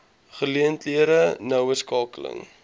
geleenthede noue skakeling